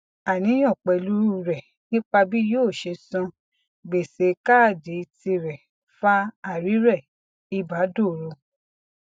àníyàn pẹlú rẹ nípa bí yó ṣe san gbèsè kádììtì rẹ fa àìrèrẹ ìbàdọru